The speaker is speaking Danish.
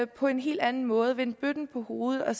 på en helt anden måde vende bøtten på hovedet og